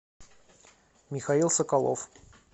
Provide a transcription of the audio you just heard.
михаил соколов